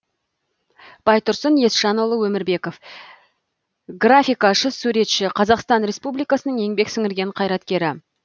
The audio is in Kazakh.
байтұрсын есжанұлы өмірбеков графикашы суретші қазақстан республикасының еңбек сіңірген қайраткері